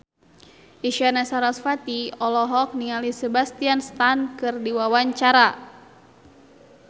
Isyana Sarasvati olohok ningali Sebastian Stan keur diwawancara